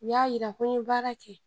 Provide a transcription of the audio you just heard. U y'a jira ko n ye baara kɛ